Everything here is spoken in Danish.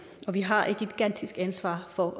og vi har et gigantisk ansvar for at